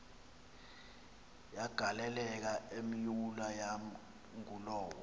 yagaleleka imyula yangulowo